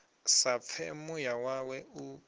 sa pfe muya wawe u